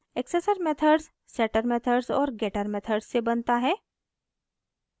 accessor methods setter methods और getter methods से बनता है